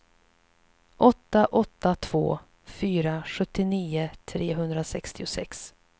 åtta åtta två fyra sjuttionio trehundrasextiosex